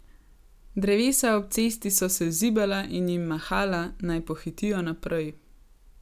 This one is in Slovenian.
Drevesa ob cesti so se zibala in jim mahala, naj pohitijo naprej.